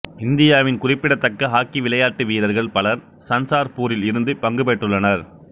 இந்தியாவின் குறிப்பிடத்தக்க ஹாக்கி விளையாட்டு வீரர்கள் பலர் சன்சார்பூரில் இருந்து பங்கு பெற்றுள்ளனர்